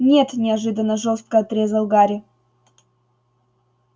нет неожиданно жёстко отрезал гарри